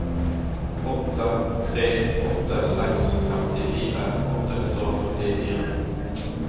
åtte tre åtte seks femtifire åtte hundre og førtifire